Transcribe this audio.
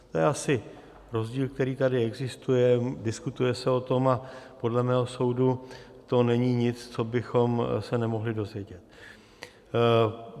To je asi rozdíl, který tady existuje, diskutuje se o tom a podle mého soudu to není nic, co bychom se nemohli dozvědět.